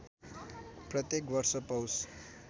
प्रत्येक वर्ष पौष